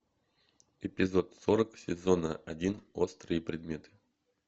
эпизод сорок сезона один острые предметы